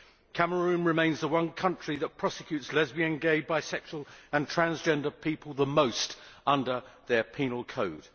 Cameroon remains the country which prosecutes lesbian, gay, bisexual and transgender people the most under their penal code.